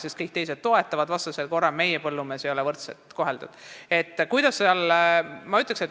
Sest kõik teised toetavad neid ja vastasel korral ei oleks meie põllumees teistega võrdselt koheldud.